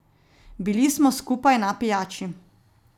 Bili smo skupaj na pijači.